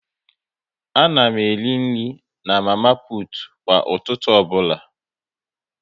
A na m eri nri na mama putu kwa ụtụtụ ọbụla